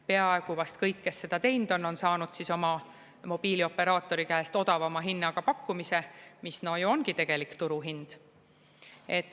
Peaaegu vast kõik, kes seda teinud on, on saanud oma mobiilioperaatori käest odavama hinnaga pakkumise, mis ongi tegelik turuhind.